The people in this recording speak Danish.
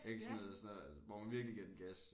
Ik sådan noget sådan noget hvor man virkelig giver den gas